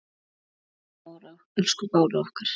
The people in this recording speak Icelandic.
Elsku Bára okkar.